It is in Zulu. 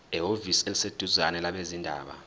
ehhovisi eliseduzane labezindaba